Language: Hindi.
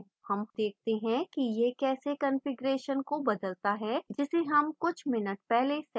हम देखते हैं कि यह कैसे configuration को बदलता है जिसे हम कुछ minutes पहले set करते हैं